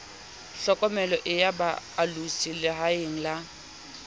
tlhokomeloi ya boalosi lehaeng la